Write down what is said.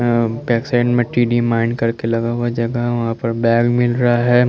अ पग्सेंत में टीडी डिमांड करके लगा हुआ हैं जगह वहां पे बैग मिल रहा हैं।